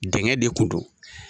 Dɛngɛ de kunun don.